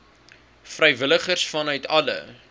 vrywilligers vanuit alle